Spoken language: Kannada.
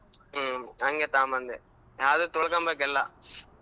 ಹ್ಮ್ ಹಂಗೆ ತಗೊಂಬಂದೆ ಆದ್ರೂ ತೊಳೊಕೊಂಬೆಕ್ ಎಲ್ಲಾ.